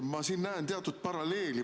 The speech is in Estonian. Ma näen siin teatud paralleeli.